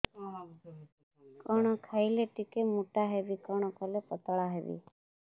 କଣ ଖାଇଲେ ଟିକେ ମୁଟା ହେବି କଣ କଲେ ପତଳା ହେବି